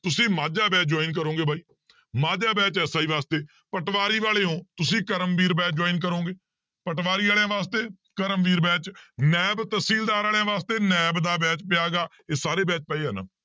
ਤੁਸੀਂ Majha batch join ਕਰੋਗੇ ਬਾਈ ਮਾਝਾ batch SI ਵਾਸਤੇ ਪਟਵਾਰੀ ਵਾਲੇ ਹੋ ਤੁਸੀਂ ਕਰਮਵੀਰ batch join ਕਰੋਂਗੇ ਪਟਵਾਰੀ ਵਾਲਿਆਂ ਵਾਸਤੇ ਕਰਮਵੀਰ batch ਨੈਬ ਤਹਿਸੀਲਦਾਰ ਵਾਲਿਆਂ ਵਾਸਤੇ ਨੈਬ ਦਾ batch ਪਿਆ ਗਾ, ਇਹ ਸਾਰੇ batch ਪਏ ਆ ਨਾ